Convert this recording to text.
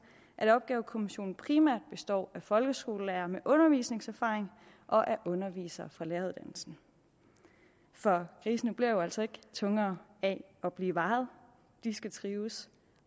at opgavekommissionen primært består af folkeskolelærere med undervisningserfaring og af undervisere fra læreruddannelsen for grisene bliver jo altså ikke tungere af at blive vejet de skal trives